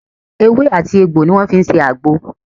Ewé àti egbò ni wọ́n fi ń ṣe àgbo